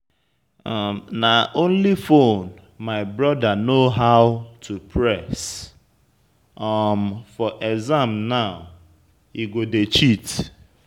Na only phone my brother know how to press, um for exam now he go dey cheat.